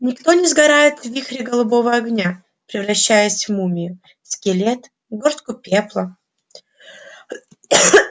никто не сгорает в вихре голубого огня превращаясь в мумию скелет горстку пепла